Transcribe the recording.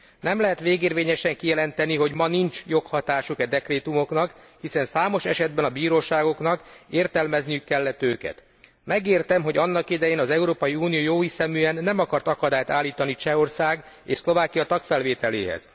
Nem lehet végérvényesen kijelenteni, hogy ma nincs joghatásuk e dekrétumoknak, hiszen számos esetben a bíróságoknak értelmezniük kellett őket. Megértem, hogy annak idején az Európai Unió jóhiszeműen nem akart akadályt állítani Csehország és Szlovákia tagfelvételéhez.